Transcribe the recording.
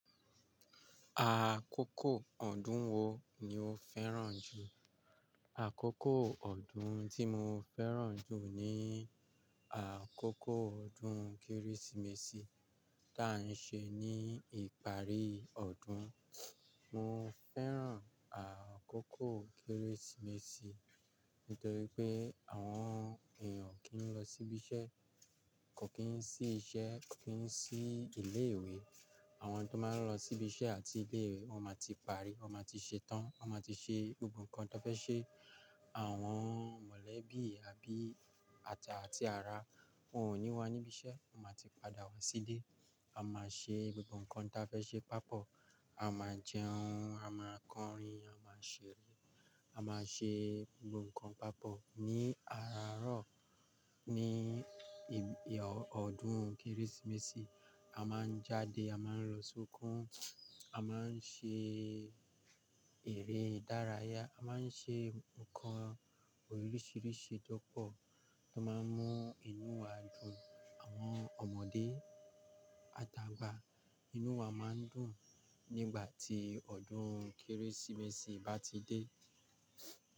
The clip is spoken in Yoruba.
Àkókò ọdún wo ni o fẹ́ràn jù? Àkókò ọdún tí mo fẹ́ràn jù ni àkókò ọdún Kérésìmesì tí a ń ṣe ní ìparí ọdún. Mo fẹ́ràn àkókò Kérésìmesì nítorí pé àwọn èèyàn kì í lọ síbi iṣẹ́, kò kí ń sí iṣẹ́, kò kí ń sí ilé ìwé. Àwọn tó máa ń lọ síbi iṣẹ́ àti ilé ìwé wọ́n máa ti parí, wọ́n máa ti ṣe tán, wọ́n máa ti ṣe gbogbo nǹkan tó fẹ́ ṣe. Àwọn mọ̀lẹ́bí, abí àtà àti ara, wọ́n ò ní wá níbi iṣẹ́, wọ́n máa ti padà wá sílé. A máa ṣe gbogbo nǹkan tí a fẹ́ ṣe papọ̀. A máa jẹun, a máa kọrin, a máa ṣeré, a máa ṣe gbogbo nǹkan papọ̀. Ní arààárọ̀ ní ọdún Kérésìmesì, a máa jáde, a máa ń lọ sọ́kùn, a máa ń ṣe eré ìdárayá, a máa ń ṣe nǹkan oríṣiríṣi lọ́pọ̀ tó máa ń mú inú wa dùn. Àwọn ọmọdé, àtàgbà, inú wa máa ń dùn nígbà tí ọdún Kérésìmesì bá ti dé.